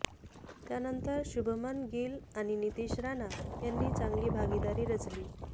त्यानंतर शुभमन गिल आणि नितिश राणा यांनी चांगली भागीदारी रचली